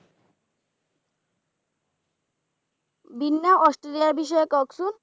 বিন্ধা Austrailia এর বিষয়ে কহেন তো